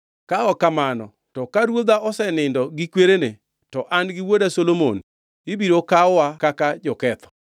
Ka ok kamano, to ka ruodha osenindo gi kwerene, to an gi wuoda Solomon ibiro kaw kaka joketho.”